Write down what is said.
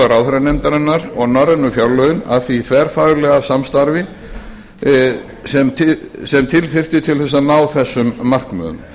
ráðherranefndarinnar og norrænu fjárlögin að því þverfaglega samstarfi sem til þyrfti til að ná þessum markmiðum